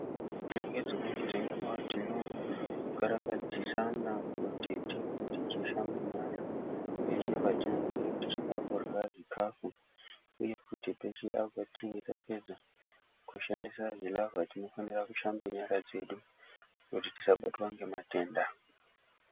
Ngedzimweni dzenguwa tinokarakadzisana kuti tinge tichishambe nyara peshe patinenge tichida kurya zvikafu uye kuti peshe apo patinenge tapedza kushandisa zvilavha tinofanira kushamba nyara dzedu kuti tisabatwa ngematenda.